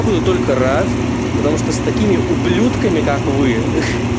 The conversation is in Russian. буду только рад потому что с такими ублюдками как вы